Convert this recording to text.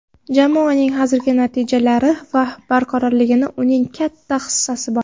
Jamoaning hozirgi natijalari va barqarorligida uning katta hissasi bor.